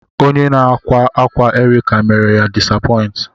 Onye na-akwa akwa Erica mere ya disapoint.